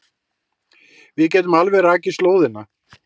Við getum alveg rakið slóðina.